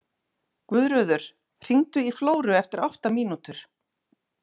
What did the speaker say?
Guðröður, hringdu í Flóru eftir átta mínútur.